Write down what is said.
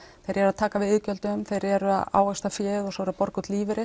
þeir eru að taka við iðgjöldum þeir eru að ávaxta fé og borga út lífeyri